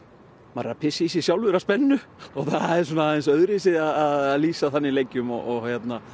maður er að pissa í sig sjálfur af spennu það er aðeins öðruvísi að lýsa þannig leikjum og